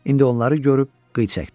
İndi onları görüb qıy çəkdi.